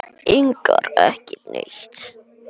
Engar, ekki neitt!